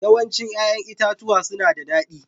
Yawancin 'ya'yan itatuwa suna da daɗi